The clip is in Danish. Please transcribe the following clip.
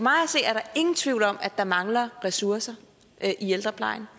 ingen tvivl om at der mangler ressourcer i ældreplejen